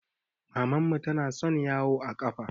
Mamman mu tana son yawo a ƙafa